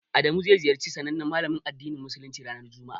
Adamu zai ziyarci sanannen malamin addinin musuluncin ranar juma'a.